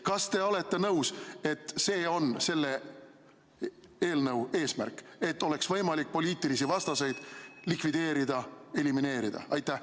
Kas te olete nõus, et selle eelnõu eesmärk on see, et oleks võimalik poliitilisi vastaseid likvideerida, elimineerida?